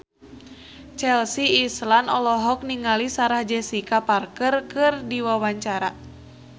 Chelsea Islan olohok ningali Sarah Jessica Parker keur diwawancara